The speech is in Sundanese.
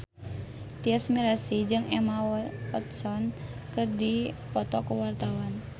Tyas Mirasih jeung Emma Watson keur dipoto ku wartawan